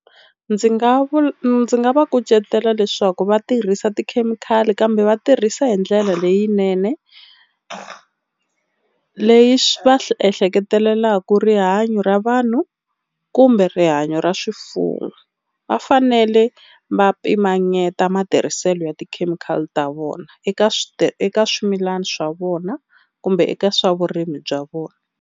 Ndzi nga ndzi nga va kucetela leswaku va tirhisa tikhemikhali kambe vatirhisa hindlela leyinene leyi swi va swi ehleketelelaka rihanyo ra vanhu kumbe rihanyo ra swifuwo. Vafanele va pimanyeta matirhiselo ya ti-chemical ta vona eka swi eka swimilana swa vona kumbe eka swa vurimi bya vona.